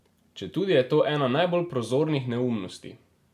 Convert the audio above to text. Četudi je to ena najbolj prozornih neumnosti.